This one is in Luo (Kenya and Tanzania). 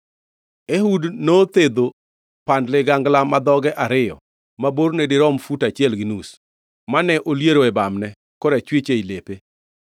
Ehud nothedho pand ligangla ma dhoge ariyo ma borne dirom fut achiel gi nus, mane oliere e bamne korachwich ei lepe.